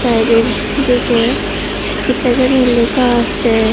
বাইরের দিকে কি তা জানি লেখা আসে।